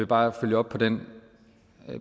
bare følge op på den